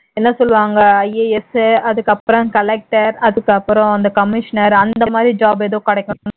என்ன சொல்லுவாங்க IAS அதுக்கு அப்புறம் collector அதுக்கு அப்புறம் அந்த commissioner அந்த மாதிரி job ஏதும் கிடைக்கும்